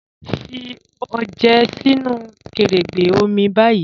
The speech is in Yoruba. Fí ọjẹ sínu kẹ̀rẹ́gbẹ́ omi báyì